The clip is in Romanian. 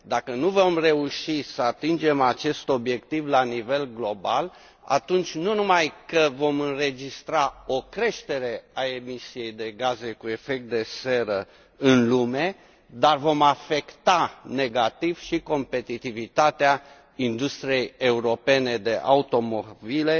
Dacă nu vom reuși să atingem acest obiectiv la nivel global, atunci nu numai că vom înregistra o creștere a emisiei de gaze cu efect de seră în lume, dar vom afecta negativ și competitivitatea industriei europene de automobile,